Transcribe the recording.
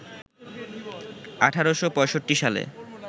১৮৬৫ সালে